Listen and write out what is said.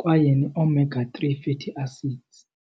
kwaye ne-omega three fatty acids.